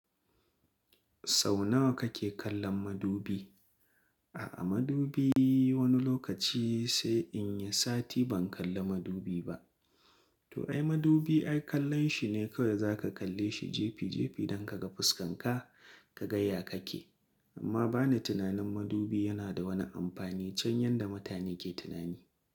Sau nawa kake kallon madubi? A'a madubi wani lokaci sai in yi sati ban kalla madubi ba. To ai madubi ai kallon shi ne kawai za ka kalle shi jefi jefi don ka ga fuskanka ka ga ya kake. Amma ba ni tunanin madubi yana da wani amfani can yanda mutane ke tunani.